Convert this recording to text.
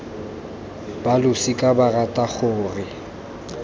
ba losika ba rata gore